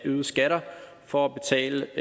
af øgede skatter for at betale